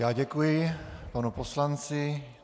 Já děkuji panu poslanci.